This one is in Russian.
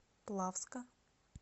плавска